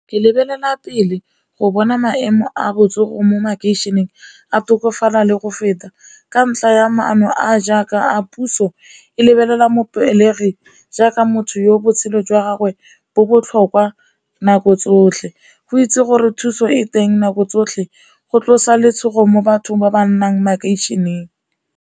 Ke lebelela pele go bona maemo a botsogo mo makeišeneng a tokafala le go feta ka ntlha ya maano a jaaka a puso e lebelela jaaka motho yo botshelo jwa gagwe bo botlhokwa nako tsotlhe, go itse gore thuso e teng nako tsotlhe go tlosa letshogo mo bathong ba ba nnang makeišeneng.